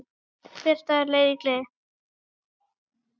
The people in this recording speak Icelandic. Hver dagur leið í gleði.